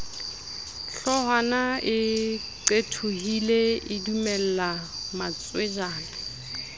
hloohwana e qethohile edumella matswejana